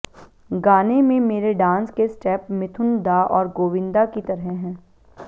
गाने में मेरे डांस के स्टेप मिथुन दा और गोविंदा की तरह हैं